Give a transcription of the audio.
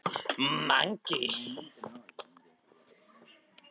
Þú stendur þig vel, Mangi!